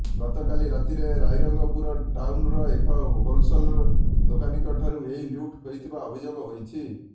ଗତକାଲି ରାତିରେ ରାଇରଙ୍ଗପୁର ଟାଉନ୍ର ଏକ ହୋଲେସଲ୍ ଦୋକାନୀଙ୍କଠୁ ଏହି ଲୁଟ୍ ହୋଇଥିବାର ଅଭିଯୋଗ ହୋଇଛି